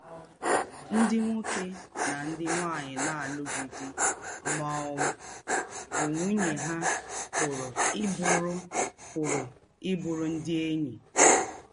Ndị̀ nwókè na ndị̀ nwáńyì na-àlụ̀ghị̀ dì̄ má ọ̀ bụ́ nwúnye hà pụ̀rù í bùrù pụ̀rù í bùrù ndị̀ ényí